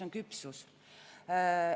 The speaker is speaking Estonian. Mis on küpsus?